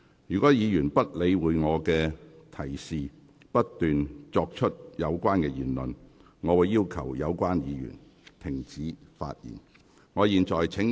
如議員不理會我的提示，不斷作出該等言論，我會要求有關議員停止發言。